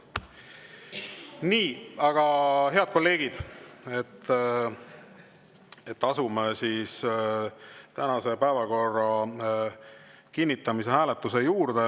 Nii, head kolleegid, asume tänase päevakorra kinnitamise hääletuse juurde.